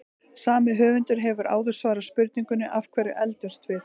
Sami höfundur hefur áður svarað spurningunni Af hverju eldumst við?